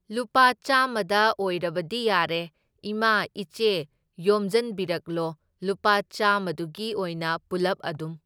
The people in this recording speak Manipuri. ꯂꯨꯄꯥ ꯆꯥꯝꯃꯗ ꯑꯣꯏꯔꯗꯤ ꯌꯥꯔꯦ, ꯏꯃꯥ ꯏꯆꯦ ꯌꯣꯝꯖꯟꯕꯤꯔꯛꯂꯣ, ꯂꯨꯄꯥ ꯆꯥꯝꯃꯗꯨꯒꯤ ꯑꯣꯏꯅ ꯄꯨꯂꯞ ꯑꯗꯨꯝ꯫